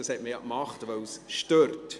Man hat das Gesetz ja gemacht, weil es stört.